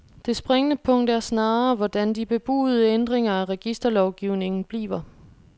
Det springende punkt er snarere, hvordan de bebudede ændringer af registerlovgivningen bliver.